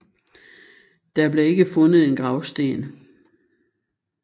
Der blev ikke fundet en gravsten